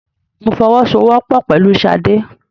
Mo fọwọ́ sọ wọ́pọ̀ pẹ̀lú sade.